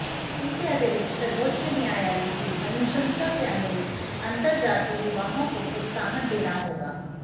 इसके अतिरिक्त सर्वोच्च न्यायालय की अनुशंसा के अनुरूप अंतर्जातीय विवाहों को प्रोत्साहन देना चाहिए